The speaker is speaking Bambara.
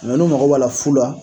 Mɛ n'u mako b'a la fu la,